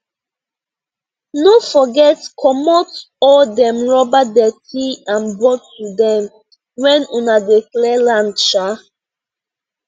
no forget comot all dem rubber dirty and bottle dem when una dey clear land um